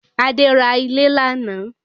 Adé ra ilẹ̀ lánàá